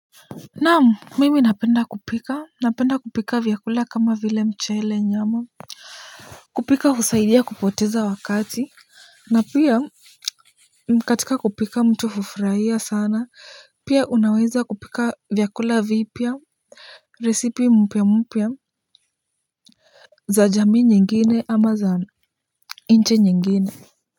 Naam mimi napenda kupika, napenda kupika vyakula kama vile mchele nyama kupika husaidia kupoteza wakati na pia katika kupika mtu hufuraia sana pia unaweza kupika vyakula vipya resipi mpya mpya za jamii nyingine ama za inch nyingine.